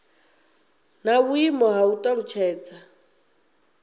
na vhuimo ha u talutshedza